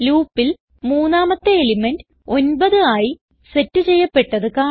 Loopൽ മൂന്നാമത്തെ എലിമെന്റ് 9 ആയി സെറ്റ് ചെയ്യപ്പെട്ടത് കാണാം